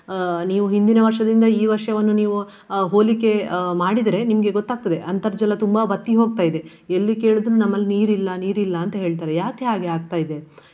ಅಹ್ ನೀವು ಹಿಂದಿನ ವರ್ಷದಿಂದ ಈ ವರ್ಷವನ್ನು ಅಹ್ ನೀವು ಹೋಲಿಕೆ ಅಹ್ ಮಾಡಿದ್ರೆ ನಿಮ್ಗೆ ಗೊತ್ತಾಗ್ತದೆ ಅಂತರ್ಜಲ ತುಂಬಾ ಬತ್ತಿ ಹೋಗ್ತಾ ಇದೆ. ಎಲ್ಲಿ ಕೇಳಿದ್ರು ನಮ್ಮಲ್ಲಿ ನೀರಿಲ್ಲ ನೀರಿಲ್ಲ ಅಂತ ಹೇಳ್ತಾರೆ. ಯಾಕೆ ಹಾಗೆ ಆಗ್ತಾ ಇದೆ.